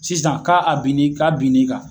Sisan k'a a binni k'a binni kan.